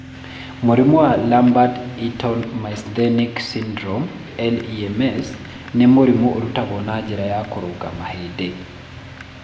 Mũrimũ wa Lambert Eaton myasthenic syndrome (LEMS) nĩ mũrimũ ũrutagwo na njĩra ya kũrũga mahĩndĩ.